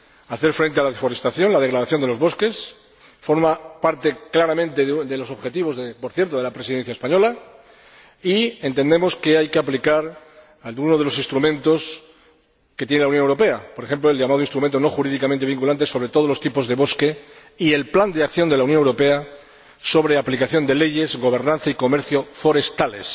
Hacer frente a la deforestación, a la degradación de los bosques, forma parte claramente de los objetivos, por cierto, de la Presidencia española y entendemos que hay que aplicar algunos de los instrumentos de que dispone la Unión Europea, por ejemplo, el llamado instrumento no jurídicamente vinculante, sobre todos los tipos de bosque y el plan de acción de la Unión Europea sobre aplicación de leyes, gobernanza y comercio forestales,